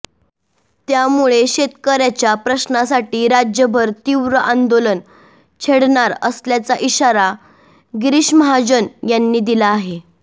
त्यामुळे शेतकऱ्यांच्या प्रश्नांसाठी राज्यभर तीव्र आंदोलन छेडणार असल्याचा इशारा गिरीश महाजन यांनी दिला आहे